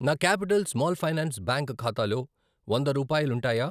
నా capital small finance bank ఖాతాలో వంద రూపాయాలుంటాయా?